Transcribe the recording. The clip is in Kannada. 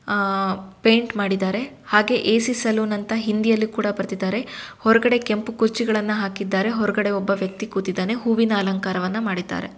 ಪೇಂಟ್ ಮಾಡಿದ್ದಾರೆ ಎಸಿ ಸಲೂನ್ ಅಂತ ಹಿಂದಿಯಲ್ಲಿ ಬರೆದಿದ್ದಾರೆ ಹೊರಗಡೆ ಕೆಂಪು ಕುರ್ಚಿಗಳನ್ನು ಹಾಕಿದ್ದಾರೆ ಹೊರಗಡೆ ಒಬ್ಬ ವ್ಯಕ್ತಿ ಕೂಡ ಕುಂತಿದ್ದಾನೆ ಹೂವಿನ ಅಲಂಕಾರವನ್ನು ಮಾಡಿದ್ದಾರೆ.